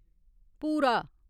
भूरा